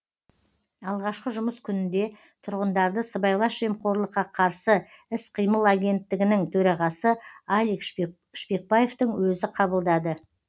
алғашқы жұмыс күнінде тұрғындарды сыбайлас жемқорлыққа қарсы іс қимыл агенттігінің төрағасы алик шпекбаевтың өзі қабылдады